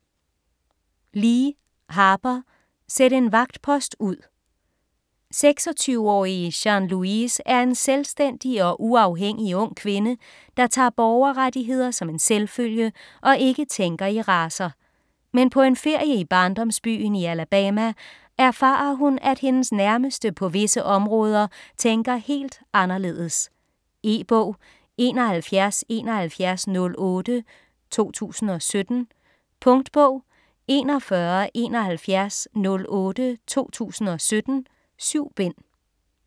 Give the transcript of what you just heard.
Lee, Harper: Sæt en vagtpost ud 26-årige Jean Louise er en selvstændig og uafhængig ung kvinde, der tager borgerrettigheder som en selvfølge og ikke tænker i racer. Men på en ferie i barndomsbyen i Alabama erfarer hun, at hendes nærmeste på visse områder tænker helt anderledes. E-bog 717108 2017. Punktbog 417108 2017. 7 bind.